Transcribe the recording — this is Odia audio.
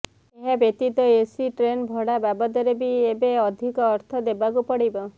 ଏହାବ୍ୟତୀତ ଏସି ଟ୍ରେନ୍ ଭଡା ବାବଦରେ ବି ଏବେ ଅଧିକ ଅର୍ଥ ଦେବାକୁ ପଡିବ